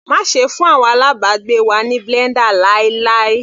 Má ṣe fún àwọn alábàgbé wa ní blender láíláí.